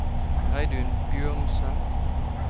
Reidun Bjørnsen